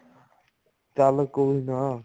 ਚੱਲ ਕੋਈ ਨਾ